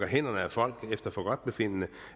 hænderne af folk efter forgodtbefindende